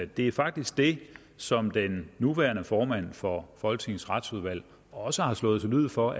det er faktisk det som den nuværende formand for folketingets retsudvalg også har slået til lyd for